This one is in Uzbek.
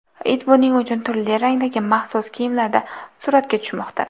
It buning uchun turli rangdagi maxsus kiyimlarda suratga tushmoqda.